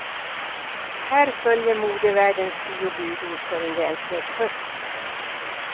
Här följer modevärldens tio budord för en välklädd höst.